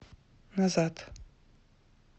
назад